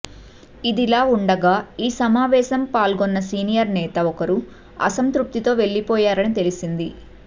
ఇదిలా ఉండగా ఈ సమావేశం పాల్గొన్న సీనియర్ నేత ఒకరు అసంతృప్తితో వెళ్లిపోయారని తెలిసింది